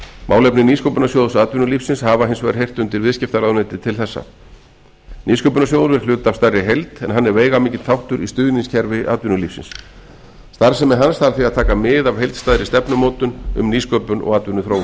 málefni nýsköpunarsjóðs atvinnulífsins hafa hins vegar heyrt undir viðskiptaráðuneytið til þessa nýsköpunarsjóður er hluti af stærri heild en hann er veigamikill þáttur í stuðningskerfi atvinnulífs starfsemi hans þarf því að taka mið af heildstæðri stefnumótun um nýsköpun og atvinnuþróun